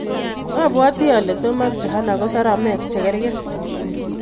Apwati ale tom ak johana ko saramek che karkei